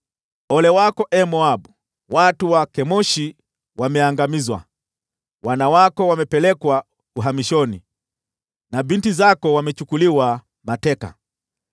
Ole wako, ee Moabu! Watu wa Kemoshi wameangamizwa; wana wako wamepelekwa uhamishoni na binti zako wamechukuliwa mateka.